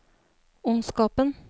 ondskapen